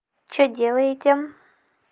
что делаете